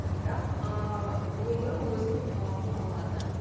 бірақ ыыы өмір өзінің талабын алады